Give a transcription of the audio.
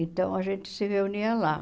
Então, a gente se reunia lá.